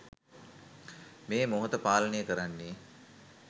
මේ මොහොත පාලනය කරන්නේ